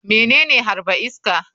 Menene harba iska?